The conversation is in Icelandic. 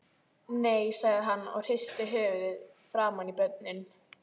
Nei, sagði hann og hristi höfuðið framan í börnin.